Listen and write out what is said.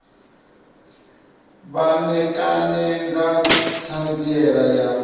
vha ṋekane nga ṱhanziela ya